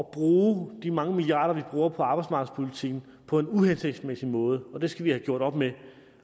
at bruge de mange milliarder vi bruger på arbejdsmarkedspolitikken på en uhensigtsmæssig måde og det skal vi have gjort op med